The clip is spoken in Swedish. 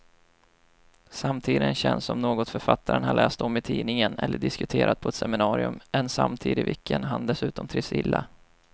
Samtiden känns som något författaren har läst om i tidningen eller diskuterat på ett seminarium, en samtid i vilken han dessutom trivs illa.